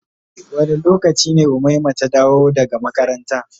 Wanda lokaci ne umaima ta dawo daga makaranta.